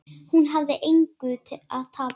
Hún hafði engu að tapa.